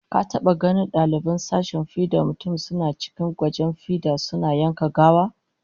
Ka taba ganin daliban sashen fidar mutum suna aikin gwajin fida suna yanka gawa?